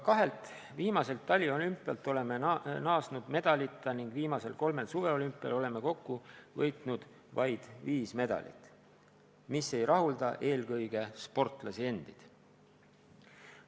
Kahelt viimaselt taliolümpialt oleme paraku naasnud medalita ning viimasel kolmel suveolümpial oleme kokku võitnud vaid viis medalit, mis ei rahulda eelkõige sportlasi endid.